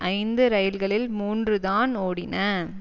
ஐந்து ரயில்களில் மூன்று தான் ஓடின